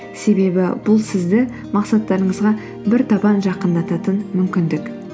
себебі бұл сізді мақсаттарыңызға бір табан жақындататын мүмкіндік